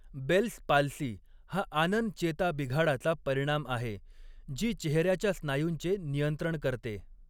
Bells palsy हा आनन चेता बिघाडाचा परिणाम आहे, जी चेहऱ्याच्या स्नायूंचे नियंत्रण करते.